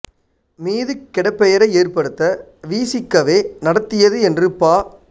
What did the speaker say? மீது கெடப்பெயரை ஏற்படுத்த வி சி கவே நடத்தியது என்று பா